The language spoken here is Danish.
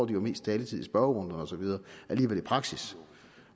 det mest taletid i spørgerunde og så videre i praksis